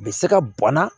A bɛ se ka bɔnna